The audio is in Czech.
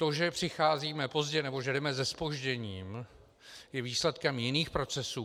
To, že přicházíme pozdě, nebo že jdeme se zpožděním, je výsledkem jiných procesů.